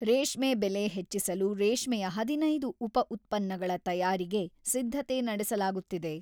ರೇಷ್ಮೆ ಬೆಲೆ ಹೆಚ್ಚಿಸಲು ರೇಷ್ಮೆಯ ಹದಿನೈದು ಉಪ ಉತ್ಪನ್ನಗಳ ತಯಾರಿಗೆ ಸಿದ್ಧತೆ ನಡೆಸಲಾಗುತ್ತಿದೆ.